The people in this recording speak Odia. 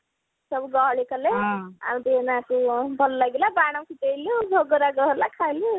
ସବୁ ଗହଳି କଲେ ଆଉ ଦିଇ ମାସେ ଭଲ ଲାଗିଲା ବାନ ଫୁଟେଇଲି ଭୋଗରାଗ ହେଲା ଖାଇଲି